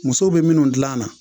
Muso bɛ minnu dilan na